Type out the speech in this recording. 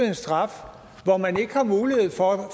en straf hvor man ikke har mulighed for at